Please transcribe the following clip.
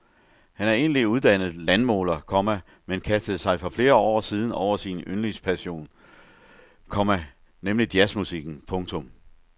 Han er egentlig uddannet landmåler, komma men kastede sig for flere år siden over sin yndlingspassion, komma nemlig jazzmusikken. punktum